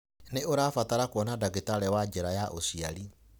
Nĩ ũrabatara kwona ndagitarĩ wa njira ya ũciari.